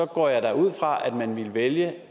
går jeg da ud fra at man ville vælge